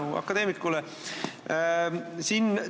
Suur tänu akadeemikule!